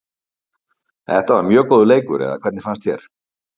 Þetta var mjög góður leikur eða hvernig fannst þér?